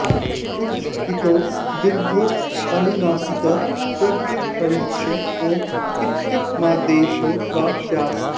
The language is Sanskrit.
उञ इतौ दीर्घोऽनुनासिकः प्रगृह्यश्च ऊँ इत्ययमादेशो वा स्यात्